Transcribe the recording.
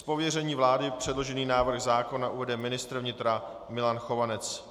Z pověření vlády předložený návrh zákona uvede ministr vnitra Milan Chovanec.